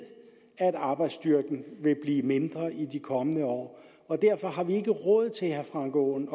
at arbejdsstyrken vil blive mindre i de kommende år og derfor har vi ikke råd til herre frank aaen